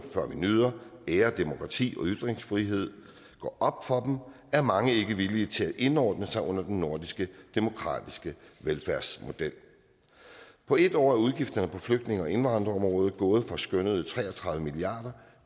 før vi nyder og ærer demokrati og ytringsfrihed går op for dem er mange ikke villige til at indordne sig under den nordiske demokratiske velfærdsmodel på en år er udgifterne på flygtninge og indvandrerområdet gået fra skønnede tre og tredive milliard